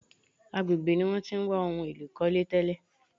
Agbègbè ní wọ́n tí ń wá ohun èlò ìkọ́lé tẹ́lè.